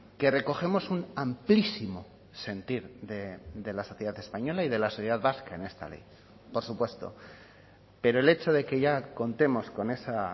que recogemos un amplísimo sentir de la sociedad española y de la sociedad vasca en esta ley por supuesto pero el hecho de que ya contemos con esa